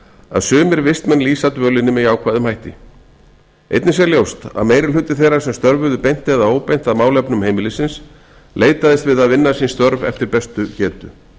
að sumir vistmenn lýsa dvölinni með jákvæðum hætti einnig sé ljóst að meirihluti þeirra sem störfuðu beint eða óbeint að málefnum heimilisins leitaðist við að vinna sín störf eftir bestu getu